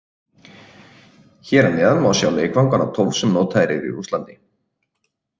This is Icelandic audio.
Hér að neðan má sjá leikvangana tólf sem notaðir eru í Rússlandi.